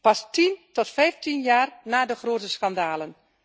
Pas tien tot vijftien jaar na de grote schandalen.